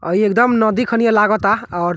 अ ई एकदम नदी खनि लागता और --